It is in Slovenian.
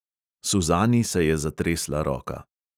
Suzani se je zatresla roka.